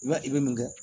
I b'a i bɛ mun kɛ